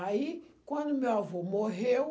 Aí, quando meu avô morreu,